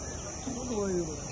O döyürdü.